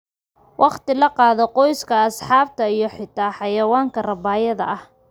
Waqti la qaado qoyska, asxaabta, iyo xitaa xayawaanka rabaayada ah.